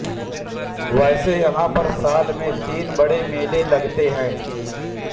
वैसे यहां पर साल में तीन बड़े मेले लगते हैं